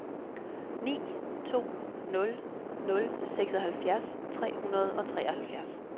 ni to nul nul seksoghalvfjerds tre hundrede og treoghalvfjerds